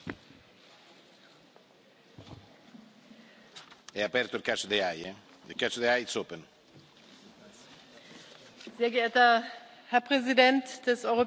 Sehr geehrter Herr Präsident des Europäischen Parlaments, lieber Antonio Tajani, sehr geehrter Herr Präsident der Europäischen Kommission, lieber Jean Claude Juncker,